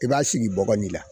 I b'a sigi bɔgɔ de la.